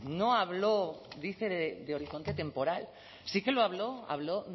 no habló dice de horizonte temporal sí que lo habló habló